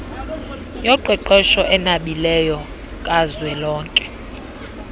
yoqeqesho enabileyo kazwelonke